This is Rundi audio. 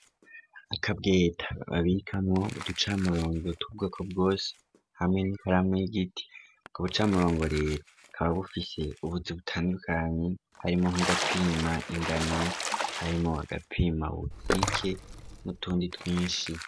Akabweta babikamwo uducamurongo tw'ubwoko bwose hamwe nikaramu y'igiti ku bucamurongo rero kaba bufise ubutzi butandukanye harimo nk'agapima ingano harimo agapima bukike n'utundi twinshi.